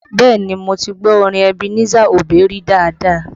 Bẹẹ ni, mo ti gbọ́ orin Ebenezer Obey rí dáadáa